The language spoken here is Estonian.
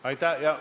Aitäh!